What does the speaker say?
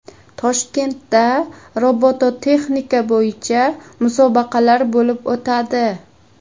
Toshkentda robototexnika bo‘yicha musobaqalar bo‘lib o‘tadi.